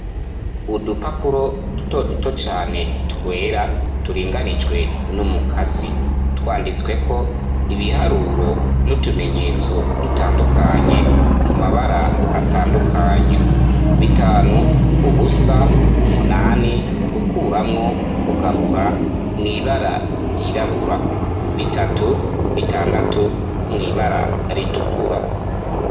Udupapuro dutoduto cane twera turinganijwe n'umukasi, twanditsweko ibiharuro n'utumenyetso dutandukanye mu mabara atandukanye: bitanu, ubusa, umunani, gukuramwo, kugabura mw'ibara ryirabura, bitatu bitandatu mw'ibara ritukura.